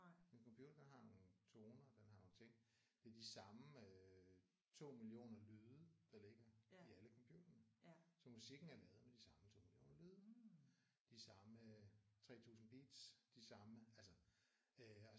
En computer den har nogle toner. Den har nogle ting. Det er de samme øh 2 millioner lyde der ligger i alle computere. Så musikken er lavet med de samme toner og lyde. De samme 3000 beats. De samme altså øh